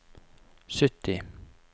sytti